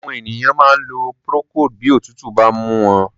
Àwọn ènìyàn máa ń lo procold bí òtútù bá ń mú wọn.